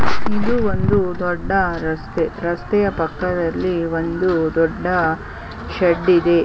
ಇದು ಒಂದು ದೊಡ್ಡ ರಸ್ತೆ ರಸ್ತೆಯ ಪಕ್ಕದಲ್ಲಿ ಒಂದು ದೊಡ್ಡ ಶೆಡ್ ಇದೆ.